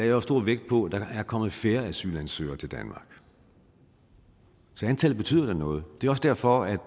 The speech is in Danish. jo stor vægt på at der er kommet færre asylansøgere til danmark så antallet betyder da noget det er også derfor at i